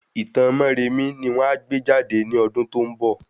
Itan Móremí ni won a gbé jade ní ọdún tó ń bọ̀